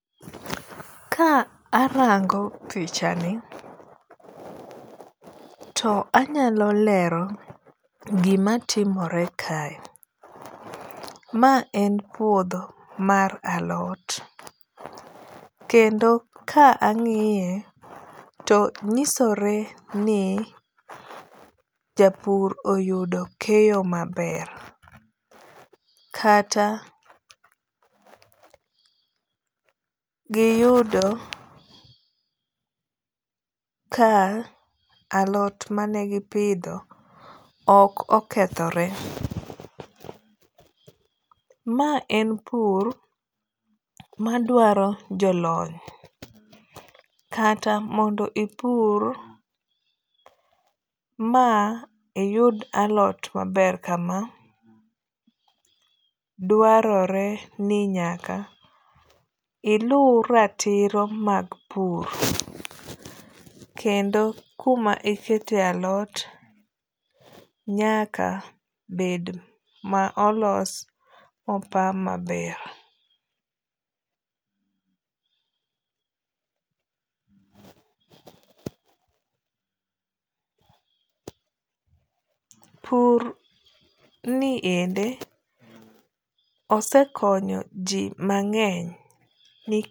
Ka arango pichani to anyalo lero gima timore kae. Ma en puodho mar alot. Kendo ka ang'iye to nyisore ni japur oyudo keyo maber. Kata giyudo ka alot manegipidho ok okethore. Ma en pur madwaro jolony kata mondo ipur ma iyud alot maber kama dwarore ni nyaka ilu ratiro mag pur. Kendo kuma iketo e alot nyaka bed ma olos mo pa maber. pur ni endi, osekonyo ji mang'eny